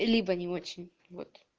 либо не очень вот